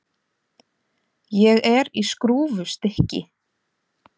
Ég er í skrúfstykki.